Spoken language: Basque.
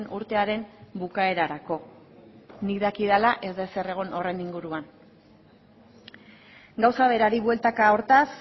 urtearen bukaerarako nik dakidala ez da ezer egon horren inguruan gauza berari bueltaka hortaz